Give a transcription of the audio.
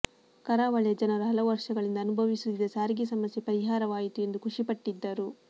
ಕರಾ ವಳಿಯ ಜನರು ಹಲವು ವರ್ಷ ಗಳಿಂದ ಅನುಭವಿ ಸುತ್ತಿದ್ದ ಸಾರಿಗೆ ಸಮಸ್ಯೆ ಪರಿಹಾರ ವಾಯಿತು ಎಂದು ಖುಷಿಪಟ್ಟಿ ದ್ದರು